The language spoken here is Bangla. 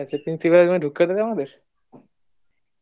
principal এর room এ ঢুকতে দেয় আমাদের